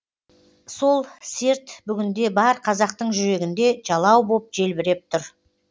сол серт бүгінде бар қазақтың жүрегінде жалау боп желбіреп тұр